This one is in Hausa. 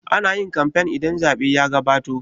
Ana yin kamfen idan zaɓe ya gabato